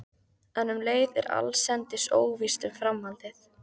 En um leið er allsendis óvíst um framhaldið.